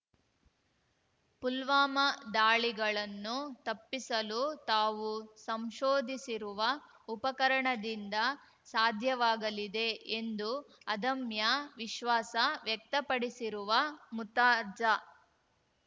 ಪುಲ್ವಾಮ ದಾಳಿಗಳನ್ನು ತಪ್ಪಿಸಲು ತಾವು ಸಂಶೋಧಿಸಿರುವ ಉಪಕರಣದಿಂದ ಸಾಧ್ಯವಾಗಲಿದೆ ಎಂದು ಅದಮ್ಯ ವಿಶ್ವಾಸ ವ್ಯಕ್ತಪಡಿಸಿರುವ ಮುರ್ತಾಜಾ